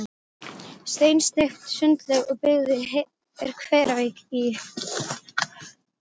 Bera því miður ekki við, vegna sýningar Sigurðar Guðmundssonar.